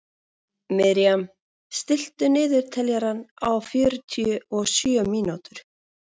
Miriam, stilltu niðurteljara á fjörutíu og sjö mínútur.